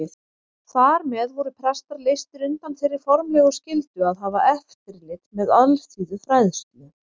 Þar með voru prestar leystir undan þeirri formlegu skyldu að hafa eftirlit með alþýðufræðslu.